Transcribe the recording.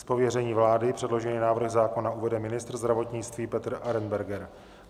Z pověření vlády předložený návrh zákona uvede ministr zdravotnictví Petr Arenberger.